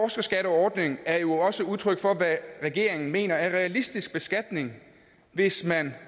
den her er jo også udtryk for hvad regeringen mener er en realistisk beskatning hvis man